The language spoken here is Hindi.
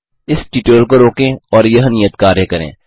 इस ट्यूटोरियल को रोकें और यह नियत कार्य करें